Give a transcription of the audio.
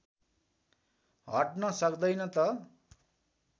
हट्न सक्दैन त